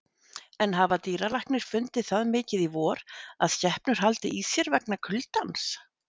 En hafa dýralæknar fundið það mikið í vor að skepnur haldi í sér vegna kuldans?